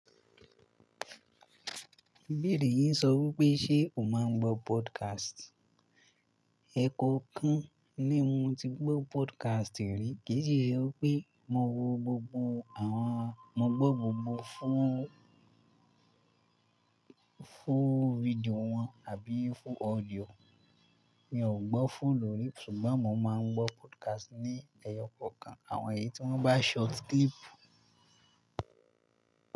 Ìbéèrè yì sọ wí pé ṣe o máa ń gbọ́ podcast? Ẹ̀ẹ̀kọ̀kan ni mo ti gbọ́ podcast rí, kì í ṣe pé mo wo gbogbo àwọn Mo gbọ́ gbogbo fún, fún fídíò wọn àbí fún audio. Mi ò gbọ́ fún lórí, ṣùgbọ́n mo máa ń gbọ́ podcast ní ẹyọ kọ̀ọ̀kan. Àwọn èyí tí wọ́n bá short clip.